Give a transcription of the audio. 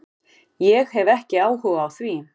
Ég hef ekki hug á því